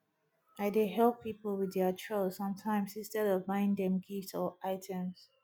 i dey help people with their chores sometimes instead of buying them gifts or items